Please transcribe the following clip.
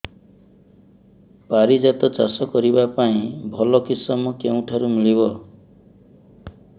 ପାରିଜାତ ଚାଷ କରିବା ପାଇଁ ଭଲ କିଶମ କେଉଁଠାରୁ ମିଳିବ